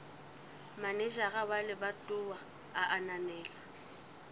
manejara wa lebatowa a ananela